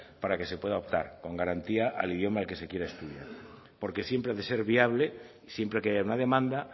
para que se pueda optar con garantía al idioma en el que se quiera estudiar porque siempre ha de ser viable y siempre que haya una demanda